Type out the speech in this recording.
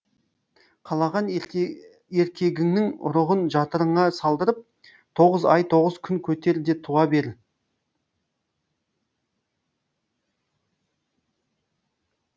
қалаған еркегіңнің ұрығын жатырыңа салдырып тоғыз ай тоғыз күн көтер де туа бер